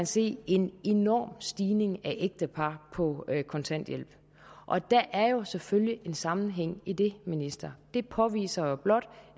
se en enorm stigning i antal ægtepar på kontanthjælp der er jo selvfølgelig en sammenhæng i det ministeren og det påviser blot